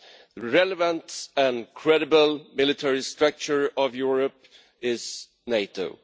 The relevant and credible military structure of Europe is NATO.